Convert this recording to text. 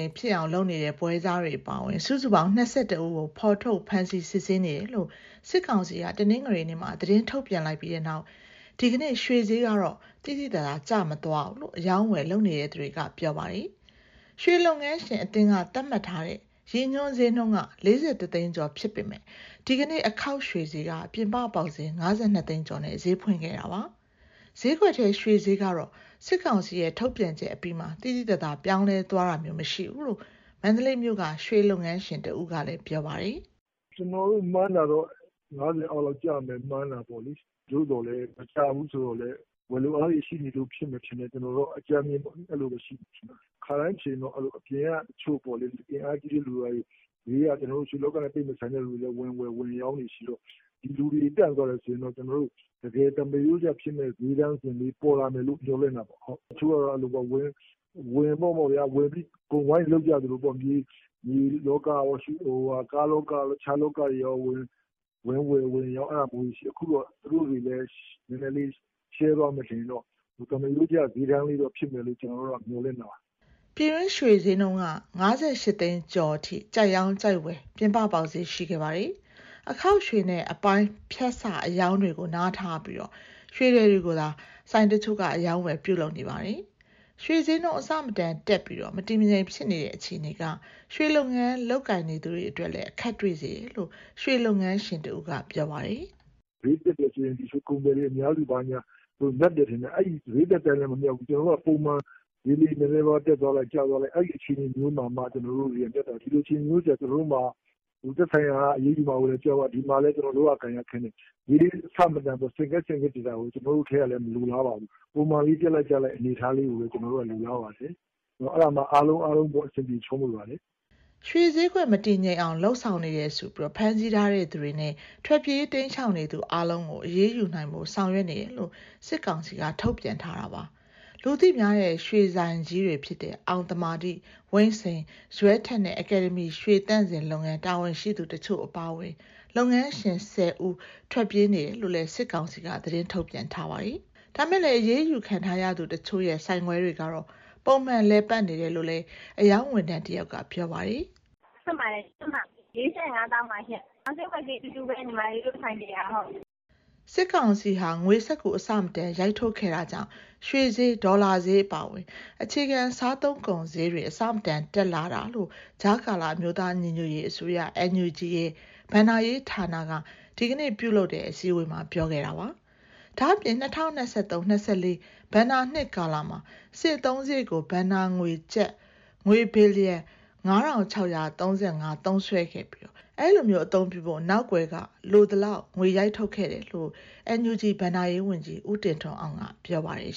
မ်ဖြစ်အောင် လုပ်နေတဲ့ ပွဲစားတွေအပါအဝင် စုစုပေါင်း ၂၁ ဦးကို ဖော်ထုတ်ဖမ်းဆီး စစ်ဆေးနေတယ်လို့ စစ်ကောင်စီက တနင်္ဂနွေနေ့မှာ သတင်းထုတ်ပြန်လိုက်ပြီးနောက် ဒီကနေ့ ရွှေဈေးကတော့ သိသိသာသာ ကျမသွားဘူးလို့ အရောင်းအဝယ် လုပ်နေသူတွေက ပြောပါတယ်။ ရွှေလုပ်ငန်းရှင်အသင်းက သတ်မှတ်ထားတဲ့ ရည်ညွှန်းဈေးနှုန်းက ၄၁ သိန်းကျော် ဖြစ်ပေမဲ့ ဒီကနေ့ အခေါက်ရွှေဈေးက ပြင်ပပေါက်ဈေး ၅၂ သိန်းကျော်နဲ့ ဈေးဖွင့်ခဲ့တာပါ။ ဈေးကွက်ထဲ ရွှေဈေးကတော့ စစ်ကောင်စီရဲ့ ထုတ်ပြန်ချက်အပြီးမှာ သိသိသာသာ ပြောင်းလဲသွားတာမျိုး မရှိဘူးလို့ မန္တလေးမြို့က ရွှေလုပ်ငန်းရှင်တဦးကလည်း ပြောပါတယ်။ "ကျနော်တို့ မှန်းတာတော့ ၅၀ အောက်လောက်ကျမယ် မှန်းတာပေါ့။ သို့သော်လည်း မကျဘူးဆိုတော့လည်း ဝယ်လိုအားတွေ ရှိနေလို့ဖြစ်မယ် ထင်တယ်။ ခါတိုင်းဆိုရင် အပြင်ကအင်အားကြီးတဲ့ တချို့လူတွေက ရွှေလောကနဲ့မဆိုင်လည်း ဝင်ဝယ်၊ ဝင်ရောင်းတွေရှိတော့ ဒီလူတွေ တန့်သွားတယ်ဆိုရင်တော့ တကယ်သမာရိုးကျဖြစ်မယ့် စျေးတန်းလေး ပေါ်လာမယ်လို့ မျှော်လင့်တာပေါ့။ တချို့ကျတော့ အဲလိုပေါ့ဗျာ၊ အကုန်ဝင်ပြီး ဝိုင်းလုပ်ကြသလိုပေါ့။ မြေလောကရော၊ ကားလောကရော၊ တခြားလောကရော ဝင်ဝယ်၊ ဝယ်ရောင်း အဲဒါမျိုးတွေရှိတယ်။ အခုတော့ သူတို့တွေလည်း နည်းနည်းလေးရှဲသွားမယ် ဆိုရင်တော့ သမားရိုးကျ စျေးတန်းလေးဖြစ်မယ်လို့ ကျနော်တို့ကတော့ မျှော်လင့်တာပါ။" ပြည်တွင်းရွှေစျေးနှုန်းက ၅၈ သိန်းကျော်အထိ ကြိုက်ရောင်း၊ ကြိုက်ဝယ် ပြင်ပပေါက်စျေး ရှိခဲ့ပါတယ်။ အခေါက်ရွှေနဲ့ အပိုင်း၊ ဖြတ်စအရောင်းတွေကို နားထားပြီး ရွှေထည်တွေကိုသာ ဆိုင်တချို့က အရောင်းအဝယ် ပြုလုပ်နေကြတာပါ။ ရွှေစျေးနှုန်း အဆမတန်တက်ပြီး မတည်မငြိမ် ဖြစ်နေတဲ့ အခြေအနေက ရွှေလုပ်ငန်း လုပ်ကိုင်သူတွေအတွက်လည်း အခက်တွေ့စေတယ်လို့ ရွှေလုပ်ငန်းရှင်တဦးက ပြောပါတယ်။ "စျေးတက်တယ်ဆိုရင် ရွှေကုန်သည်တွေ မြတ်တယ်ထင်ကြတယ်။ အဲဒီလို စျေးတက်တိုင်းလည်း မမြတ်ဘူး။ ကျနော်တို့က ပုံမှန်စျေးလေး နည်းနည်းပါးပါး တက်သွားလိုက်၊ ကျသွားလိုက် အဲဒီအခြေအနေမျိုးမှ ကျနော်တို့တွေက မြတ်တာ။ ဒီလိုအခြေအနေမျိုးကျ ကျနော်တို့မှာ သက်ဆိုင်ရာက အရေးယူမှာကို ကြောက်ရ၊ တဖက်မှာလည်း လုပ်ရကိုင်ရခက်နေ။ စျေးအဆမတန် ဆင့်ကဲဆင့်ကဲ တက်နေတာကို ကျနော်တို့ထဲကလည်း မလိုလားပါဘူး။ ပုံမှန်လေး တက်လိုက်၊ ကျလိုက် အနေအထားကိုပဲ ကျနော်တို့က လိုလားပါတယ်။ အဲဒါမှ အားလုံးအဆင်ပြေ ချောမွေ့ပါတယ်။" ရွှေစျေးကွက် မတည်ငြိမ်အောင် လုပ်ဆောင်နေတယ်ဆိုပြီး ဖမ်းဆီးထားသူတွေနဲ့ ထွက်ပြေးတိမ်းရှောင် နေသူအားလုံးကို အရေးယူနိုင်ဖို့ ဆောင်ရွက်နေတယ်လို့ စစ်ကောင်စီက ထုတ်ပြန်ထားတာပါ။ လူသိများတဲ့ ရွှေဆိုင်ကြီးတွေဖြစ်တဲ့ အောင်သမာဓိ၊ ဝိန့်စိန်၊ ဇွဲထက်နဲ့ အကယ်ဒမီ ရွှေသန့်စင်လုပ်ငန်း တာဝန်ရှိသူ တချို့ အပါအဝင် လုပ်ငန်းရှင် ၁၀ ဦး ထွက်ပြေးနေတယ်လို့လည်း စစ်ကောင်စီက သတင်းထုတ်ပြန်ထားပါတယ်။ ဒါပေမဲ့လည်း အရေးယူခံထားရသူတချို့ရဲ့ ဆိုင်ခွဲတွေကတော့ ပုံမှန်လည်ပတ်နေတယ်လို့လည်း အရောင်းဝန်ထမ်း တယောက်က ပြောပါတယ်။ "ဆိုင်ခွဲတွေအားလုံး ဖွင့်ပါတယ်။ ၁၅ ပဲရည် ဒီနေ့စျေးက ၄,၀၅၀,၀၀၀ ပါ။ ရောင်းစျေးနဲ့ ဝယ်စျေး ဆိုင်ခွဲအားလုံး အတူတူပါပဲ။" စစ်ကောင်စီဟာ ငွေစက္ကူအဆမတန် ရိုက်ထုတ်ခဲ့တာကြောင့် ရွှေစျေး၊ ဒေါ်လာစျေး အပါအဝင် အခြေခံ စားသုံးကုန်စျေးတွေ အဆမတန်တက်လာတာလို့ ကြားကာလ အမျိုးသားညီညွတ်ရေးအစိုးရ NUG ရဲ့ ဘဏ္ဍာရေးဌာနက ဒီကနေ့မှာ ပြုလုပ်တဲ့အစည်းအဝေးမှာ ပြောခဲ့ပါတယ်။ ဒါ့အပြင် ၂၀၂၃ - ၂၄ ဘဏ္ဍာနှစ်ကာလမှာ စစ်အသုံးစရိတ်ကို ဘဏ္ဍာငွေ ကျပ်ငွေဘီလီယံ ၅,၆၃၅ သုံးစွဲခဲ့ပြီး၊ အဲဒီလို အသုံးပြုဖို့ နောက်ကွယ်မှာ လိုသလောက် ငွေရိုက်ထုတ်ခဲ့တယ်လို့ NUG ဘဏ္ဍာရေးဝန်ကြီး ဦးတင်ထွန်းအောင်က ပြောပါတယ်